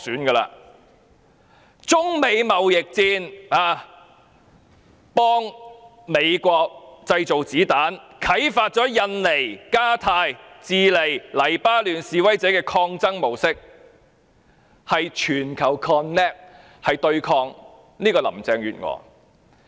在中美貿易戰中，她幫美國製造子彈，啟發了印尼、加泰羅尼亞、智利、黎巴嫩示威者的抗爭模式，是全球 connect 對抗林鄭月娥。